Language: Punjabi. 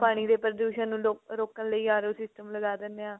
ਪਾਣੀ ਦੇ ਪ੍ਰਦੂਸ਼ਨ ਨੂੰ ਰੋ ਰੋਕਣ ਲਈ RO system ਲਗਾ ਦਿਨੇ ਆ